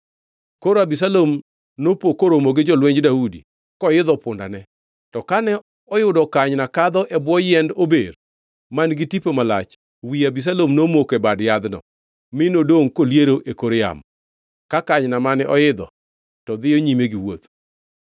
Koro Abisalom nopo koromo gi jolwenj Daudi koidho pundane. To kane oyudo kanyna kadho e bwo yiend ober man-gi tipo malach, wi Abisalom nomoko e bad yadhno, mi nodongʼ koliero e kor yamo, ka kanyna mane oidho to ne dhiyo nyime gi wuoth.